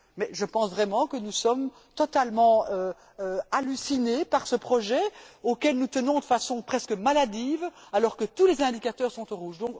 Je pense vraiment que nous sommes totalement hallucinés par ce projet, auquel nous tenons de façon presque maladive, alors que tous les indicateurs sont au rouge.